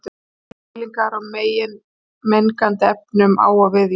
mælingar á mengandi efnum á og við ísland